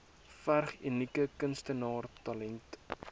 verg unieke kunstenaarstalent